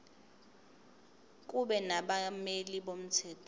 kube nabameli bomthetho